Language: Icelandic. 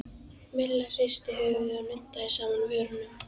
Milla hristi höfuðið og nuddaði saman vörunum.